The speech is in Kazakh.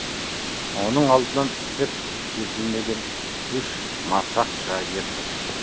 оның алдынан пісіп жетілмеген үш масақ шыға келді